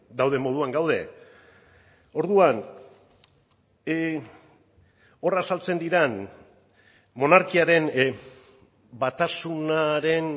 dauden moduan gaude orduan hor azaltzen diren monarkiaren batasunaren